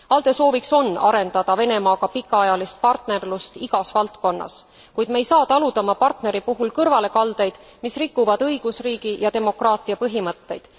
ALDE sooviks on arendada Venemaaga pikaajalist partnerlust igas valdkonnas, kuid me ei saa taluda oma partneri puhul kõrvalekaldeid, mis rikuvad õigusriigi ja demokraatia põhimõtteid.